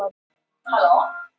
Eftir bænina kemur svefninn.